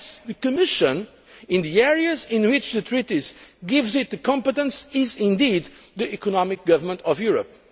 Yes, the Commission, in the areas in which the treaties give it the competence, is indeed the economic government of Europe.